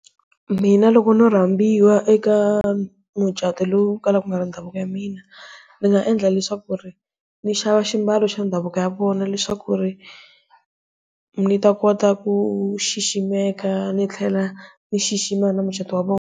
Mina loko no rhambiwa eka mucato lowu kalaka u nga ri ndhavuko ya mina ndzi nga endla leswaku ri ndzi xava swimbalo xa ndhavuko ya vona leswaku ri ndzi ta kota ku xiximeka ndzi tlhela ndzi xixima mucato wa vona.